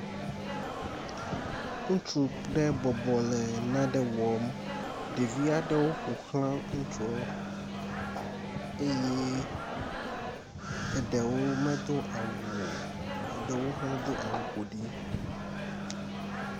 Ŋutsu ɖe bɔbɔ le nane wɔm. Ɖevi aɖewo ƒoxla ŋutua eye eɖewo medo awu o, eɖewo hã do au ƒo ɖi.